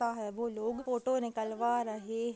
लगता है वो लोग फोटो निकलवा --